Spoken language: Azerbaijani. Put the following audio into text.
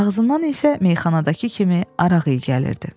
Ağzından isə meyxanadakı kimi araq iyi gəlirdi.